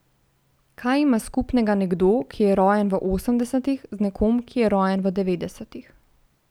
Kaj ima skupnega nekdo, ki je rojen v osemdesetih, z nekom, ki je rojen v devetdesetih?